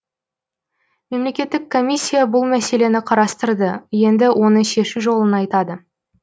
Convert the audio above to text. мемлекеттік комиссия бұл мәселені қарастырды енді оны шешу жолын айтады